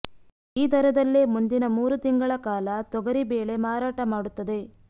ಈ ದರದಲ್ಲೇ ಮುಂದಿನ ಮೂರು ತಿಂಗಳ ಕಾಲ ತೊಗರಿ ಬೇಳೆ ಮಾರಾಟ ಮಾಡುತ್ತದೆ